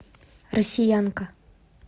россиянка